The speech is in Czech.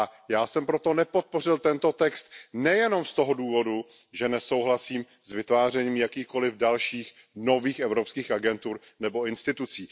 Já jsem proto nepodpořil tento text, nejenom z toho důvodu, že nesouhlasím s vytvářením jakýchkoliv dalších nových evropských agentur nebo institucí.